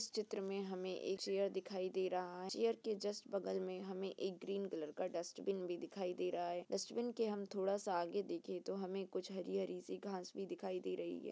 इस चित्र में हमें एक चेयर दिखाई दे रहा है। चेयर के जस्ट बगल में हमें एक ग्रीन कलर का डस्टबिन भी दिखाई दे रहा है। डस्टबिन के हम थोड़ा सा आगे देखें तो हमे कुछ हरी हरी सी घास भी दिखाई दे रही है।